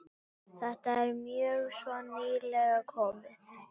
Þetta er mjög svo nýlega tilkomið.